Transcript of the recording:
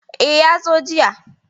E, ya zo jiya.